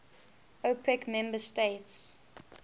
opec member states